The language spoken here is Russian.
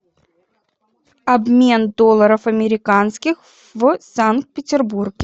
обмен долларов американских в санкт петербурге